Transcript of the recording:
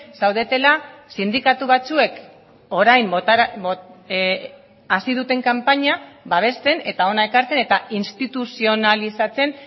zaudetela sindikatu batzuek orain hasi duten kanpaina babesten eta hona ekartzen eta instituzionalizatzen